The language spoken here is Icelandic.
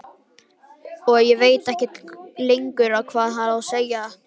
Og ég veit ekkert lengur hvað ég á að segja.